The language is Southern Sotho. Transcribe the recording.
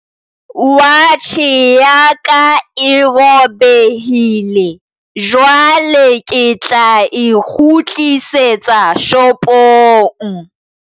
Watjhe ya ka e robehile jwale ke tla e kgutlisetsa shopong.